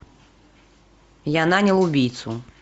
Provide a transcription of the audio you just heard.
я нанял убийцу